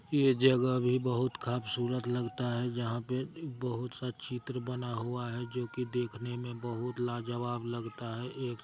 ये जगह भी बहुत खबसूरत लगता हैं जहाँ पे बहुत सा चित्र बना हुआ हैं जो कि देखने में बहुत लाजवाब लगता हैं एक--